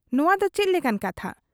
ᱱᱚᱣᱟ ᱫᱚ ᱪᱮᱫ ᱞᱮᱠᱟᱱ ᱠᱟᱛᱷᱟ ?